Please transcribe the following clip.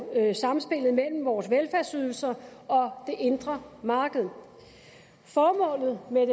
samspillet mellem vores velfærdsydelser og det indre marked formålet med